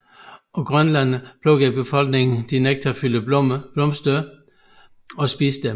På Grønland plukker befolkningen de nektarfyldte blomster og spiser dem